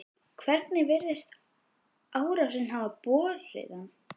Hvernig virðist árásin hafa borið að?